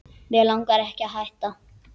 Mig langar ekki að hætta.